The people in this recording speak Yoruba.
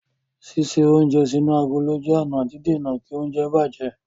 Ṣíṣe oúnjẹ sínú agolo jẹ́ ọ̀nà dídèna kí oúnjẹ bàjẹ́.